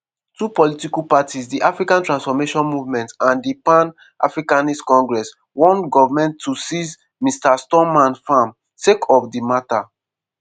two political parties - di african transformation movement and di pan africanist congress - wan goment to seize mr stoman farm sake of di matter.